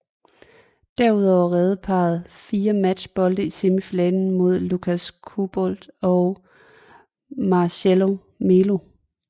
Derudover reddede parret også fire matchbolde i semifinalen mod Łukasz Kubot og Marcelo Melo